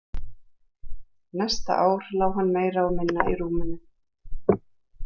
Næsta ár lá hann meira og minna í rúminu.